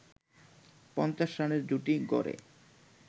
৫০ রানের জুটি গড়ে